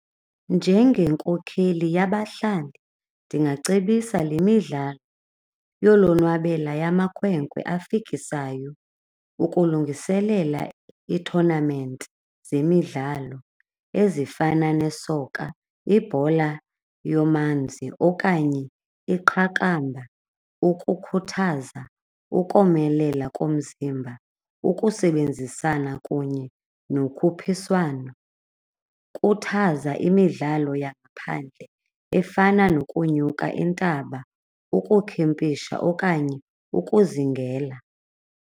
Njengenkokheli yabahlali ndingacebisa le midlalo yolonwabela yamakhwenkwe afikisayo ukulungiselela ii-tournament zemidlalo ezifana nesoka, ibhola yomanzi okanye iqakamba. Ukukhuthaza ukomelela komzimba, ukusebenzisana kunye nokhuphiswano, khuthaza imidlalo yangaphandle efana nokunyuka intaba, ukukhempisha okanye ukuzingela.